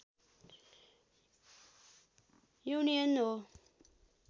union हो